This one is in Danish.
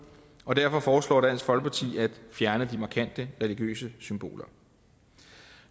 og derfor foreslår dansk folkeparti at fjerne de markante religiøse symboler